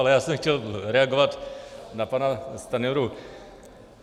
Ale já jsem chtěl reagovat na pana Stanjuru.